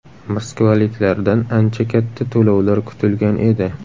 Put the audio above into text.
Moskvaliklardan ancha katta to‘lovlar kutilgan edi.